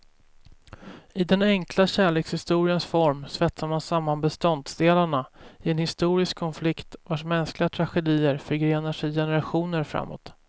I den enkla kärlekshistoriens form svetsar man samman beståndsdelarna i en historisk konflikt, vars mänskliga tragedier förgrenade sig generationer framåt.